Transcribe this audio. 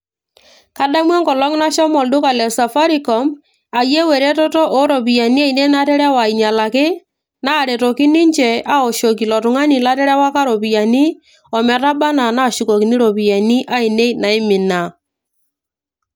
kadamu enkolong nashomo olduka le safaricom ayieu eretoto oo ropiyiani ainei naterewa ainyialaki, naaretoki ninche awoshoki ilo tung'ani laterewaka iropiyiani ometaba anaa naashukokini iropiyiani ainei naimina.